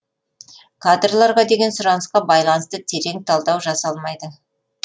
кадрларға деген сұранысқа байланысты терең талдау жасалмайды